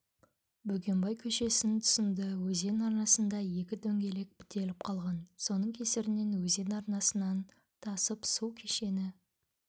бөгенбай көшесінің тұсында өзен арнасында екі дөңгелек бітеліп қалған соның кесірінен өзен арнасынан тасып су кешені